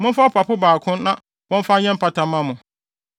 Momfa ɔpapo baako na wɔmfa nyɛ mpata mma mo.